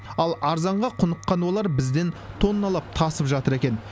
ал арзанға құныққан олар бізден тонналап тасып жатыр екен